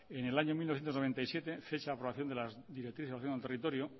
en el año mil novecientos noventa y siete fecha de aprobación de las directrices de ordenación del territorio